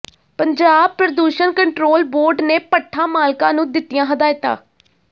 ਪੰਜਾਬ ਪ੍ਰਦੂਸ਼ਣ control board ਨੇ ਭੱਠਾ ਮਾਲਕਾਂ ਨੂੰ ਦਿੱਤੀਆਂ ਹਦਾਇਤਾਂ